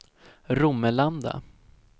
Romelanda